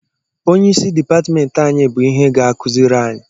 Onyeisi dịpatmentị anyị bụ ihe ga-akụziri anyị